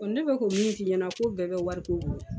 ne bɛ k'o min f'i ɲɛna ko bɛɛ bɛ wariko bolo.